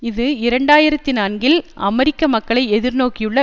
இது இரண்டு ஆயிரத்தி நான்கில் அமெரிக்க மக்களை எதிர் நோக்கியுள்ள